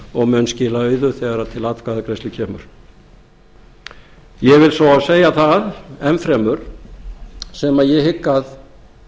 og mun skila auðu þegar til atkvæðagreiðslu kemur ég verð svo að segja það enn fremur sem ég hygg að